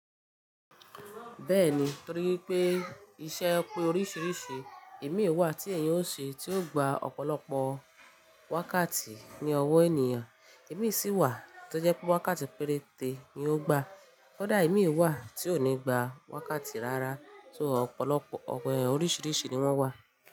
Bẹ́ẹ̀ni, torí pé iṣẹ́ pé oríṣiríṣi, èmi wà tí èèyàn ó ṣe tí ó gba ọ̀pọ̀lọpọ̀ wákàtí ní ọwọ́ ènìyàn, èmi sì wà tó jẹ́ pé wákàtí péréte ni ó gba. Kódà èmi wà tí ò ní gba wákàtí rárá só ọ̀pọ̀lọpọ̀ oríṣiríṣi ni wọ́n wà.